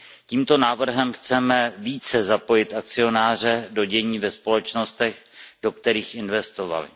Tímto návrhem chceme více zapojit akcionáře do dění ve společnostech, do kterých investovali.